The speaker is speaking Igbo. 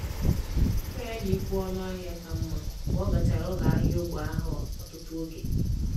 um Nkà ya n’ịkwụ ọnụ ahịa ka mma mgbe ọ gachara ụlọ ahịa ógbè ahụ ọtụtụ oge.